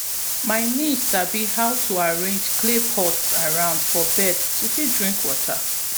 my niece sabi how to arrange clay pots around for birds to fit drink water